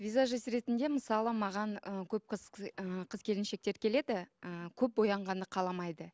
визажист ретінде мысалы маған ы көп қыз ыыы қыз келіншектер келеді ы көп боянғанды қаламайды